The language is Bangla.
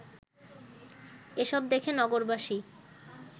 এসব দেখে নগরবাসী